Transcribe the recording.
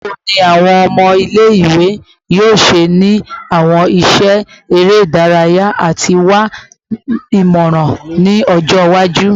Bawo ni awọn ọmọ ile-iwe yoo ṣe ni awọn iṣẹ ere idaraya ati wa imọran ni ọjọ iwaju?